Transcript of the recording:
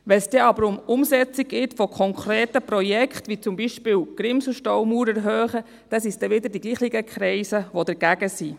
Wenn es dann aber um die Umsetzung von konkreten Projekten geht, wie zum Beispiel die Erhöhung der Grimsel-Staumauer, dann sind es wieder dieselben Kreise, die dagegen sind.